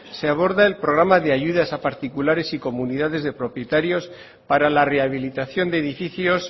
se aborda el programa de ayudas a particulares y comunidades de propietarios para la rehabilitación de edificios